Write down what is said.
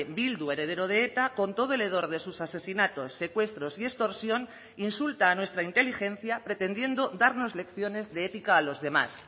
bildu heredero de eta con todo el hedor de sus asesinatos secuestros y extorsión insulta a nuestra inteligencia pretendiendo darnos lecciones de ética a los demás